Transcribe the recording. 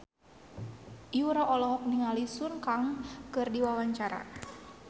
Yura olohok ningali Sun Kang keur diwawancara